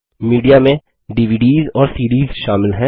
media में DVDs और CDs शामिल हैं